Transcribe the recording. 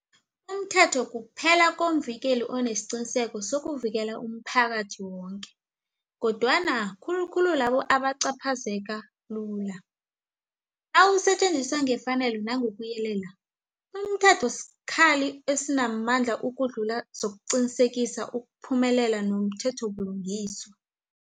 Umthetho kuphela komvikeli onesiqiniseko sokuvikela umphakathi woke, kodwana khulu khulu labo abacaphazeka lula. Nawusetjenziswa ngefanelo nangokuyelela, umthetho sikhali esinamandla ukudlula zokeesiqinisekisa ukuphumelela komthethobulungiswa.